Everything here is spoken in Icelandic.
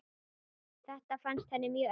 Þetta fannst henni mjög erfitt.